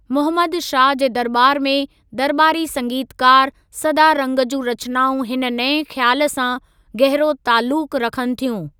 मुहम्मद शाह जे दरॿार में दरॿारी संगीतकार सदारंग जूं रचनाउं हिन नएं ख़्याल सां गहिरो ताल्‍लुक रखनि थियूं।